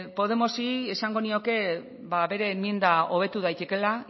podemosi esango nioke bere emienda hobetu daitekeela